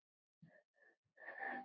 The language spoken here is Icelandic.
Ég hef.